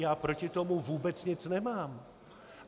Já proti tomu vůbec nic nemám.